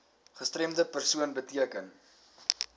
gestremde persoon beteken